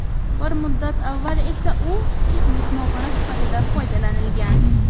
Bir muddat avval esa u kichik mehmonxona sifatida foydalanilgan.